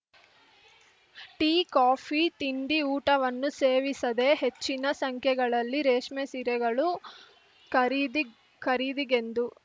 tea coffee ತಿಂಡಿ ಊಟವನ್ನೂ ಸೇವಿಸದೇ ಹೆಚ್ಚಿನ ಸಂಖ್ಯೆಗಳಲ್ಲಿ ರೇಷ್ಮೆ ಸೀರೆಗಳು ಖರೀದಿ ಖರೀದಿಗೆಂದು